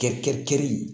Kɛ kɛli